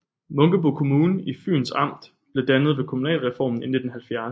Munkebo Kommune i Fyns Amt blev dannet ved kommunalreformen i 1970